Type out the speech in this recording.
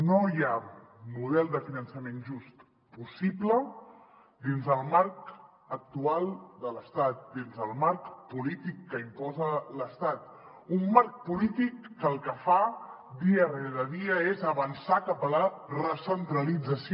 no hi ha model de finançament just possible dins el marc actual de l’estat dins el marc polí·tic que imposa l’estat un marc polític que el que fa dia rere dia és avançar cap a la recentralització